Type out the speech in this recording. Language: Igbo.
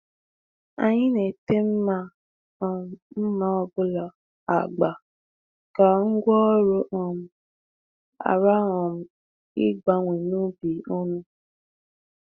Anyị na-ete mma um mma ọ bụla agba ka ngwá ọrụ um ghara um ịgbanwe n’ubi ọnụ.